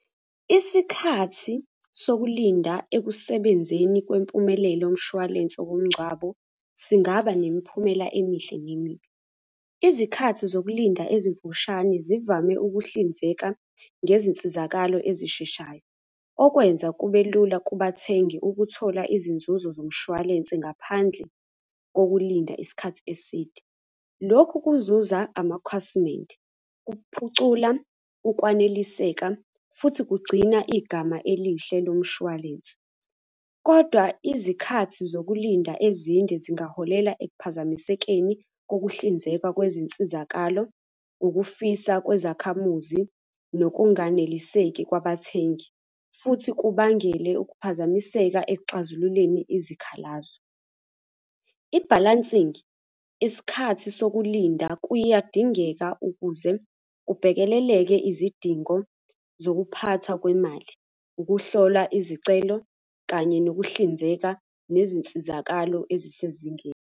Isikhathi sokulinda ekusebenzeni kwempumelelo yomshwalense womngcwabo, singaba nemiphumela emihle nemibi. Izikhathi zokulinda ezimfushane zivame ukuhlinzeka ngezinsizakalo ezisheshayo. Okwenza kube lula kubathengi ukuthola izinzuzo zomshwalense ngaphandle kokulinda isikhathi eside. Lokhu kuzuza amakhwasimende, kuphucula ukwaneliseka, futhi kugcina igama elihle lomshwalense, kodwa izikhathi zokulinda ezinde zingaholela ekuphazamisekeni kokuhlinzekwa kwezinsizakalo, ukufisa kwezakhamuzi, nokunganeliseki kwabathengi, futhi kubangele ukuphazamiseka ekuxazululeni izikhalazo. I-balancing, isikhathi sokulinda kuyadingeka ukuze kubhekeleleke izidingo zokuphathwa kwemali, ukuhlola izicelo, kanye nokuhlinzeka nezinsizakalo ezisezingeni.